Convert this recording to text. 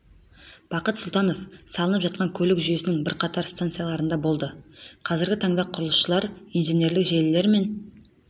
бақытсұлтанов салынып жатқан көлік жүйесінің бірқатар жаңа станцияларында болды қазіргі таңда құрылысшылар инженерлік желілер мен